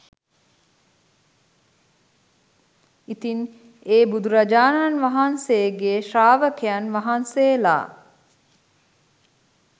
ඉතින් ඒ බුදුරජාණන් වහන්සේගේ ශ්‍රාවකයන් වහන්සේලා